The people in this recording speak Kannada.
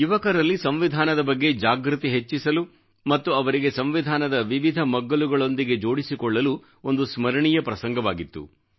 ಯುವಕರಲ್ಲಿ ಸಂವಿಧಾನದ ಬಗ್ಗೆ ಜಾಗೃತಿ ಹೆಚ್ಚಿಸಲು ಮತ್ತು ಅವರಿಗೆ ಸಂವಿಧಾನದ ಮಜಲಲ್ಲಿ ಜೋಡಿಸಲು ಒಂದು ಸ್ಮರಣೀಯ ಪ್ರಸಂಗವಾಗಿತ್ತು